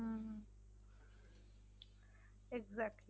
Exactly